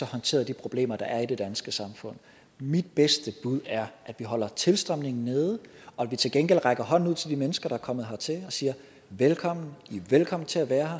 håndteret de problemer der er i det danske samfund mit bedste bud er at vi holder tilstrømningen nede og at vi til gengæld rækker hånden ud til de mennesker der er kommet hertil og siger velkommen i er velkomne til at være